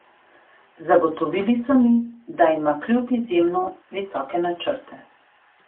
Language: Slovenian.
Zagotovili so mi, da ima klub izjemno visoke načrte.